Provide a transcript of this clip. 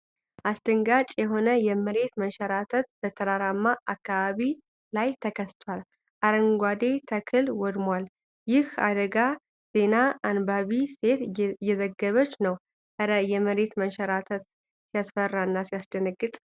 አስደንጋጭ የሆነ የመሬት መንሸራተት በተራራማ አካባቢ ላይ ተከስቷል። አረንጓዴው ተክል ወድሟል። ይህን አደጋ ዜና አንባቢ ሴት እየዘገበች ነው። እረ! የመሬት መንሸራተት ሲያስፈራና ሲያስደነግጥ!